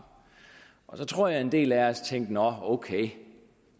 og så tror jeg at en del af os tænkte nå ok